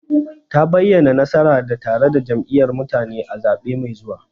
Ta bayyana, nasara na tare da Jam'iyyar mutane a zaɓe mai zuwa.